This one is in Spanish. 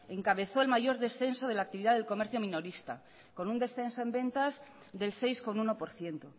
encabezó en mayor descenso de la actividad del comercio minorista con un descenso en ventas del seis coma uno por ciento